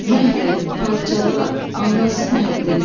Məhv et, parçala, anlasın həddini.